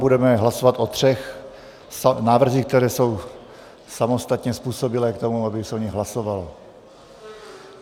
Budeme hlasovat o třech návrzích, které jsou samostatně způsobilé k tomu, aby se o nich hlasovalo.